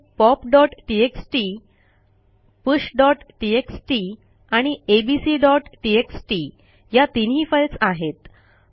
येथे popटीएक्सटी pushटीएक्सटी आणि abcटीएक्सटी या तीनही फाईल्स आहेत